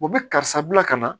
U bɛ karisa bila ka na